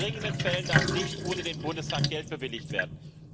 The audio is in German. In dringenden Fällen darf nicht ohne den Bundestag Geld bewilligt werden.